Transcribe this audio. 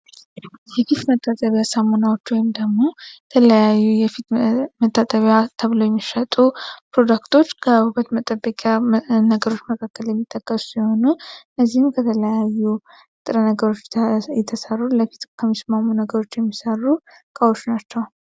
የፊፍ መጣጠቢያ ሳሙናዎች ወይም ደግሙ ተለያዩ የፊት መታጠቢያ ተብለው የሚሸጡ ፕሮዳክቶች ከውበት መጠበቂያ ነገሮች መካከል የሚጠቀሱ ሲሆኑ እነዚህም ከተለያዩ እጥረ ነገሮች የተሰሩ ለፊት ከሚስማሙ ነገሮች የሚሰሩ ቃዎቹ ናቸው።